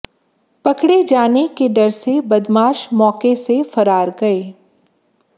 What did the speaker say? पकड़े जाने के डर से बदमाश मौके से फरार गए